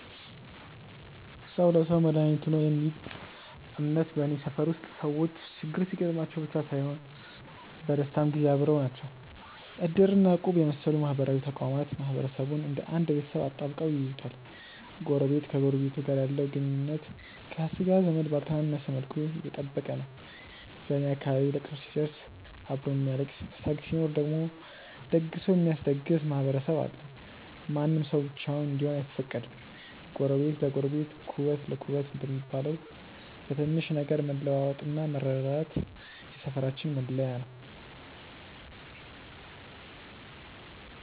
"ሰው ለሰው መድኃኒቱ ነው" የሚል እምነት በኔ ሰፈር ውስጥ ሰዎች ችግር ሲገጥማቸው ብቻ ሳይሆን በደስታም ጊዜ አብረው ናቸው። እድር እና እቁብ የመሰሉ ማህበራዊ ተቋማት ማህበረሰቡን እንደ አንድ ቤተሰብ አጣብቀው ይይዙታል። ጎረቤት ከጎረቤቱ ጋር ያለው ግንኙነት ከሥጋ ዘመድ ባልተነሰ መልኩ የጠበቀ ነው። በኔ አካባቢ ለቅሶ ሲደርስ አብሮ የሚያለቅስ፣ ሰርግ ሲኖር ደግሞ ደግሶ የሚያስደግስ ማህበረሰብ አለ። ማንም ሰው ብቻውን እንዲሆን አይፈቀድም። "ጎረቤት ለጎረቤት ኩበት ለኩበት" እንደሚባለው፣ በትንሽ ነገር መለዋወጥና መረዳዳት የሰፈራችን መለያ ነው።